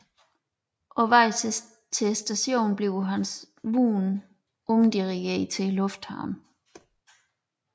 På vej til stationen bliver hans vogn omdirigeret til lufthavnen